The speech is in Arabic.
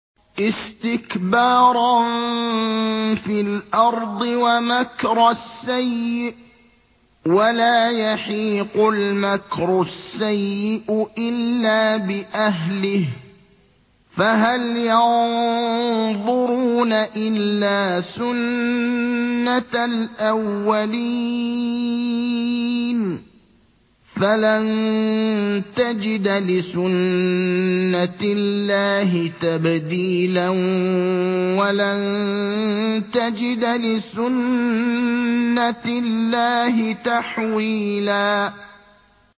اسْتِكْبَارًا فِي الْأَرْضِ وَمَكْرَ السَّيِّئِ ۚ وَلَا يَحِيقُ الْمَكْرُ السَّيِّئُ إِلَّا بِأَهْلِهِ ۚ فَهَلْ يَنظُرُونَ إِلَّا سُنَّتَ الْأَوَّلِينَ ۚ فَلَن تَجِدَ لِسُنَّتِ اللَّهِ تَبْدِيلًا ۖ وَلَن تَجِدَ لِسُنَّتِ اللَّهِ تَحْوِيلًا